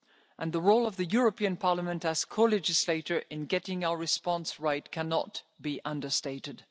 process. And the role of the European Parliament, as co legislator, in getting our response right cannot be understated.